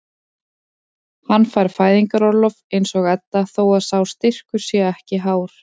Hann fær fæðingarorlof eins og Edda þó að sá styrkur sé ekki hár.